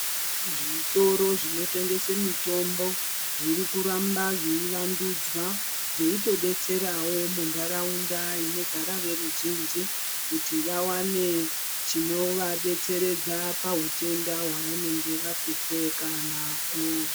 Zvitoro zvinotengese mitombo zvirikuramba zveivanduzwa, zveitodetserawo muntaraunda inogara veruzhinji kuti vawane chinovadetseredza pahutenda hwavanenge vahlupheka nahwo.